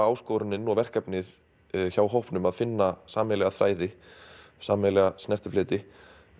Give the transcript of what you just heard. áskorunin og verkefnið hjá hópnum að finna sameiginlega þræði sameiginlega snertifleti